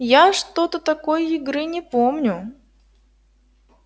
я что-то такой игры не помню